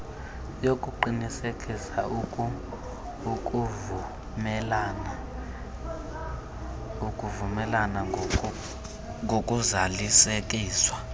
yokuqinisekisa ukuvumelana ngokuzalisekiswa